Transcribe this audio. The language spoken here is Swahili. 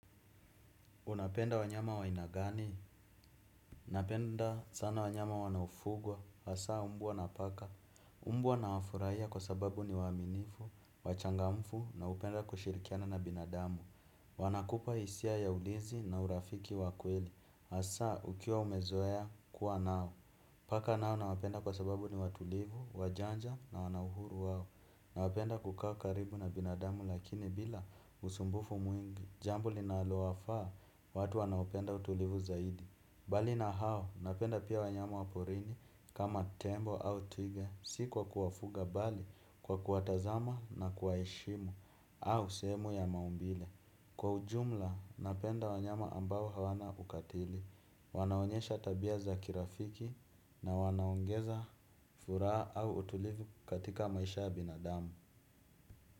Unapenda wanyama wainagani? Unapenda sana wanyama wanaofugwa, hasa umbuwa na paka. Umbwa nawafurahia kwa sababu ni waminifu, wachangamfu na upenda kushirikiana na binadamu. Wanakupa isia ya ulizi na urafiki wakweli, hasa ukiwa umezoeya kuwa nao. Paka nao nawapenda kwa sababu ni watulivu, wajanja na wanahuru wao. Nawapenda kuka karibu na binadamu lakini bila usumbufu mwingi jambo lina alo wafaa watu wanaoupenda utulivu zaidi. Bali na hao napenda pia wanyama waporini kama tembo au twiga. Sikuwa kuwafuga bali kwa kuwatazama na kuwaeshimu au sehemu ya maumbile. Kwa ujumla napenda wanyama ambao hawana ukatili wanaonyesha tabia za kirafiki na wanaongeza furaa au utulivu katika maisha ya binadamu.